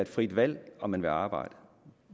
frit valg om man vil arbejde